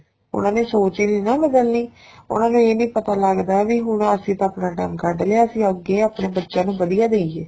ਉਹਨਾ ਨੇ ਸੋਚ ਈ ਨਹੀਂ ਨਾ ਬਦਲਣੀ ਉਹਨਾ ਨੂੰ ਇਹ ਨੀ ਪਤਾ ਲੱਗਦਾ ਵੀ ਹੁਣ ਅਸੀਂ ਤਾਂ ਆਪਣਾ time ਕੱਡ ਲਿਆ ਸੀ ਅੱਗੇ ਆਪਣੇ ਬੱਚਿਆਂ ਨੂੰ ਵਧੀਆ ਦਈਏ